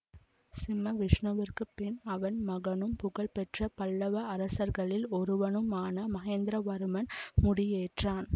சிம்மவிஷ்ணுவிற்குப் பின் அவன் மகனும் புகழ்ப்பெற்ற பல்லவ அரசர்களில் ஒருவனுமான மகேந்திரவர்மன் முடியேற்றான்